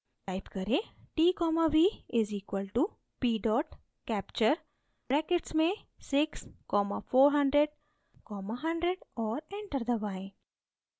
type करें: t v = p capture brackets में 6400100 और enter दबाएँ